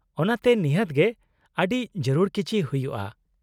-ᱚᱱᱟᱛᱮ ᱱᱤᱦᱟᱹᱛ ᱜᱮ ᱟᱹᱰᱤ ᱡᱟᱹᱨᱩᱲ ᱠᱤᱪᱷᱤ ᱦᱩᱭᱩᱜᱼᱟ ?